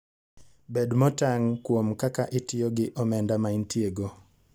Bed motang' kuom kaka itiyo gi omenda maintiego.